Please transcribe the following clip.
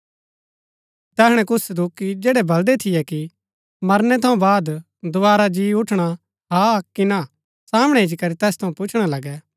तैहणै कुछ सदूकि जैड़ै बलदै थियै कि मरनै थऊँ वाद दोवारा जी उठणा हा कि ना सामणै इच्ची करी तैस थऊँ पुछणा लगै